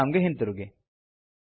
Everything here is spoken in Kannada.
ಪ್ರೊಗ್ರಾಮ್ ಗೆ ಹಿಂತಿರುಗಿ